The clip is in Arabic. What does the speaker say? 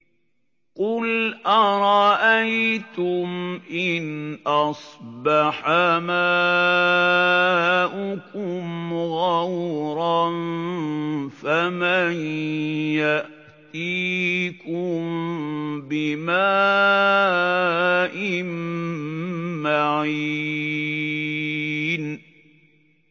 قُلْ أَرَأَيْتُمْ إِنْ أَصْبَحَ مَاؤُكُمْ غَوْرًا فَمَن يَأْتِيكُم بِمَاءٍ مَّعِينٍ